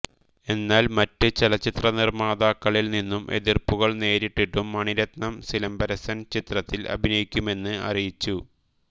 എന്നാൽ മറ്റ് ചലച്ചിത്ര നിർമ്മാതാക്കളിൽ നിന്നും എതിർപ്പുകൾ നേരിട്ടിട്ടും മണിരത്നം സിലമ്പരസൻ ചലച്ചിത്രത്തിൽ അഭിനയിക്കുമെന്ന് അറിയിച്ചു